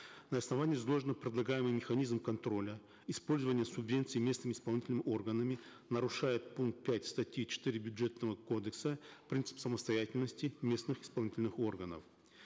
на основании изложенного предлагаемый механизм контроля использования субвенций местными исполнительными органами нарушает пункт пять статьи четыре бюджетного кодекса принцип самостоятельности местных исполнительных органов